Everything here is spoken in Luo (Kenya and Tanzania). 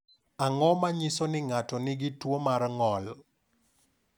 Ang’o ma nyiso ni ng’ato nigi tuwo mar ng’ol?